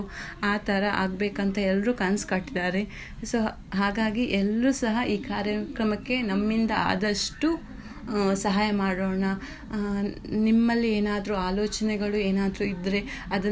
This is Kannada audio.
ಆಥರ ಆಗ್ಬೇಕು ಅಂತ ಎಲ್ಲರೂ ಕನ್ಸ್ ಕಟ್ಟಿದ್ದಾರೆ so ಹಾಗಾಗಿ ಎಲ್ರು ಸಹ ಈ ಕಾರ್ಯಕ್ರಮಕ್ಕೆ ನಮ್ಮಿಂದ ಆದಷ್ಟು ಆ ಸಹಾಯ ಮಾಡೋಣ ನಿಮ್ಮಲ್ಲಿ ಏನಾದ್ರು ಆಲೋಚನೆಗಳು ಏನಾದ್ರು ಇದ್ರೆ ಅದನ್ನು.